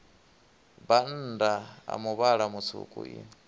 bannda a muvhala mutswuku i